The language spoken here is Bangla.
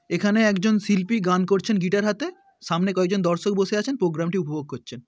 এখানে একজন শিল্পী গান করছেন গিটার হাতে। সামনে কয়েকজন দর্শক বসে আছেন প্রোগ্রামটি উপভোগ করছেন।